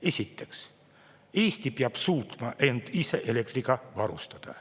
Esiteks, Eesti peab suutma end ise elektriga varustada.